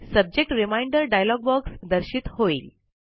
subject reminder dialog box दर्शित होईल